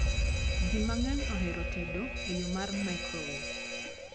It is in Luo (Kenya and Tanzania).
Jii mang'eny ohero tedo e yoo mar mikrowev